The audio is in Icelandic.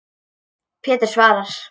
Pétur svarar.